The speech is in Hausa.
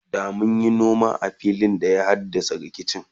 da munyi noma a filin da ya haddasa rikici